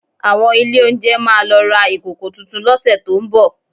Àwọn ilé oúnjẹ máa lọ ra ìkòkò tuntun lọ́sẹ̀ tó ń bọ̀